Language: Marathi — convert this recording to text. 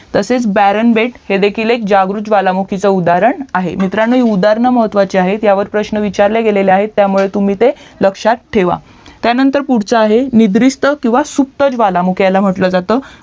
तसेच ब्यारण बेट हे देखील एक जागृत ज्वालामुखीचे उदाहरण आहे मित्रांनो ही उदाहरणे महत्वाची आहेत ह्यावर प्रश्न विचारले गेलेले आहेत त्या मुळे तुम्ही ते लक्ष्यात ठेवा त्यानंतर पुढचा आहे निद्रिस्त किवा सुस्त ज्वालामुखी म्हंटलं जात